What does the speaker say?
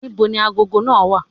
Ní bo ni agogo náà wà?